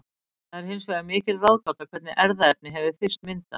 Það er hins vegar mikil ráðgáta hvernig erfðaefni hefur fyrst myndast.